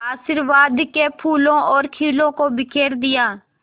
आशीर्वाद के फूलों और खीलों को बिखेर दिया